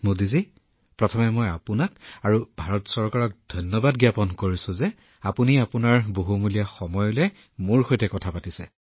মোদীজী প্ৰথমে মই আপোনালোক আৰু ভাৰত চৰকাৰৰ প্ৰতি কৃতজ্ঞতা জ্ঞাপন কৰিছো যে আপুনি মোক এটা সুযোগ দিছে আৰু মূল্যৱান সময় উলিয়াই মোৰ সৈতে কথা পাতিছে